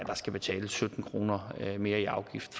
der skal betales sytten kroner mere i afgift